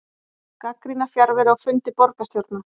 Gagnrýna fjarveru á fundi borgarstjórnar